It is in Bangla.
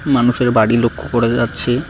মানুষের বাড়ি লক্ষ্য করা যাচ্ছে।